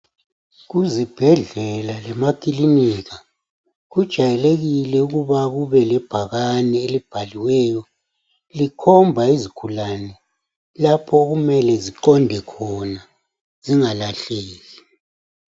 Kuzibhedlela lemakilinika, kujayelekile ukuba kube lebhakane elibhaliweyo, likhomba izigulane, lapho okumele ziqonde khona, zingalahleki.